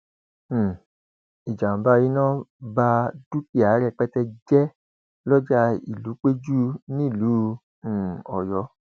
um ìjàmbá iná bá dúkìá rẹpẹtẹ jẹ lọjà ìlúpẹjù nílùú um ọyọ